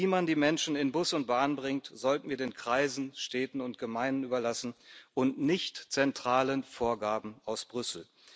Wie man die Menschen in Bus und Bahn bringt, sollten wir den Kreisen, Städten und Gemeinden überlassen und nicht zentralen Vorgaben aus Brüssel.